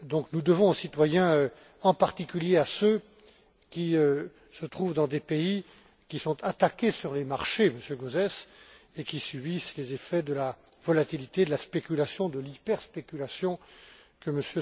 Nous le devons aux citoyens, en particulier à ceux qui se trouvent dans des pays qui sont attaqués sur les marchés, Monsieur Gauzès, et qui subissent les effets de la volatilité, de la spéculation, de l'hyperspéculation que